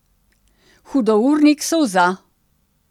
Hudournik solza.